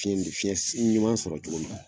Fiɲɛ minɛ fiɲɛ ɲuman sɔrɔ cogo min na.